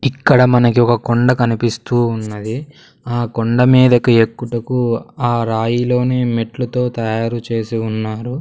ఇక్కడ మనకి ఒక కొండ కనిపిస్తూ ఉన్నది ఆ కొండమీదకి ఎక్కుటకు ఆ రాయిలోనే మెట్ల తో తయారు చేసి ఉన్నారు.